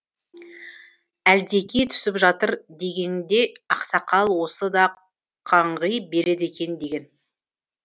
әлдекей түсіп жатыр дегеңде ақсақал осы да қаңғи береді екен деген